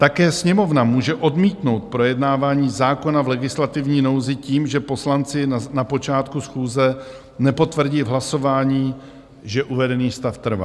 Také Sněmovna může odmítnout projednávání zákona v legislativní nouzi tím, že poslanci na počátku schůze nepotvrdí v hlasování, že uvedený stav trvá.